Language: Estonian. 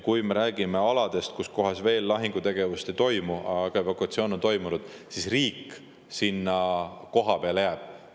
Kui me räägime aladest, kus veel lahingutegevust ei toimu, aga evakuatsioon on toimunud, siis riik sinna kohapeale jääb.